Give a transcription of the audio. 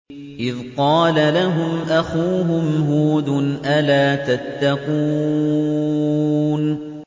إِذْ قَالَ لَهُمْ أَخُوهُمْ هُودٌ أَلَا تَتَّقُونَ